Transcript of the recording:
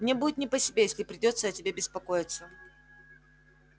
мне будет не по себе если придётся о тебе беспокоиться